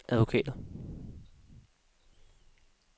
advokater